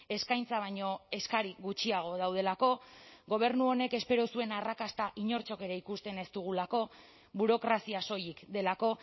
eskaintza baino eskari gutxiago daudelako gobernu honek espero zuen arrakasta inortxok ere ikusten ez dugulako burokrazia soilik delako